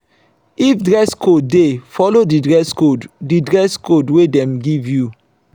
if dress code de follow di dress code di dress code wey dem give you